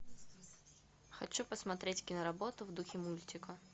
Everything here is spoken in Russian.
хочу посмотреть киноработу в духе мультика